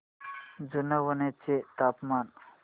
जुनवणे चे तापमान